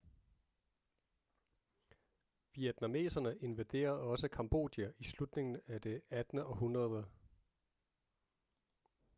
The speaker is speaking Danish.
vietnameserne invaderede også cambodja i slutningen af det 18. århundrede